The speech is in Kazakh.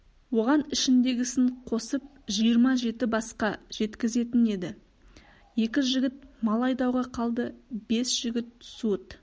оған ішіндегісін қосып жиырма жеті басқа жеткізетін еді екі жігіт мал айдауға қалды бес жігіт суыт